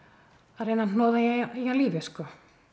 að reyna hnoða í hann lífi sko